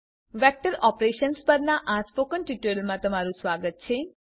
vector operations પરનાં spoken ટ્યુટોરીયલમાં તમારું સ્વાગત છે